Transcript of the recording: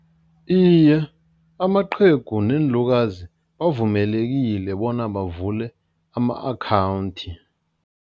Iye, amaqhegu neenlukazi bavumelekile bona bavule ama-akhawundi.